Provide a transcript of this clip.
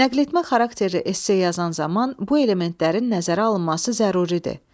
Nəqletmə xarakterli esse yazan zaman bu elementlərin nəzərə alınması zəruridir.